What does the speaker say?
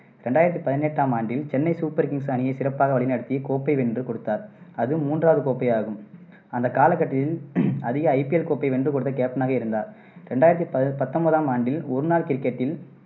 ரெண்டாயிரத்தி பதினெட்டாம் ஆண்டில் சென்னை சூப்பர் கிங்ஸ் அணியைச் சிறப்பாக வழிநடத்தி, கோப்பை வென்று கொடுத்தார். அது மூன்றாவது கோப்பையாகும். அந்த காலகட்டத்தில் அதிக IPL கோப்பை வென்றுகொடுத்த captain னாக இருந்தார். ரெண்டாயிரத்தி பதி பத்தொன்பதாம் ஆண்டில் ஒருநாள் கிரிக்கெட்டில்